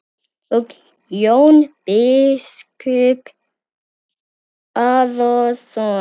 Og Jón biskup Arason.